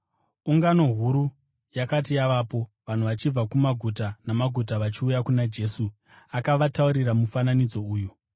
Ungano huru yakati yavapo, vanhu vachibva kumaguta namaguta vachiuya kuna Jesu, akavataurira mufananidzo uyu: